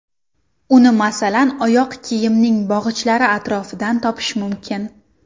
Uni masalan oyoq kiyimning bog‘ichlari atrofidan topish mumkin.